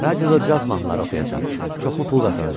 Radioda caz mahnıları oxuyacam, çoxlu pul qazanacam.